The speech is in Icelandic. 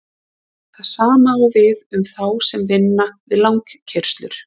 Það sama á við um þá sem vinna við langkeyrslur.